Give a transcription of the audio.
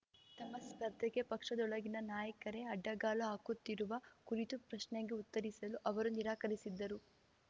ತಮ್ಮ ಸ್ಪರ್ಧೆಗೆ ಪಕ್ಷದೊಳಗಿನ ನಾಯಕರೇ ಅಡ್ಡಗಾಲು ಹಾಕುತ್ತಿರುವ ಕುರಿತು ಪ್ರಶ್ನೆಗೆ ಉತ್ತರಿಸಲು ಅವರು ನಿರಾಕರಿಸಿದ್ದರು